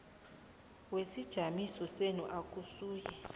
wesijamiso senu akasuye